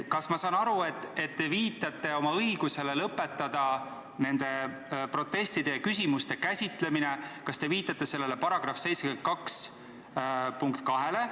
Kas ma saan õigesti aru, et te viitate oma õigusele lõpetada nende protestide ja küsimuste käsitlemine ehk kas te viitate § 72 lõikele 2?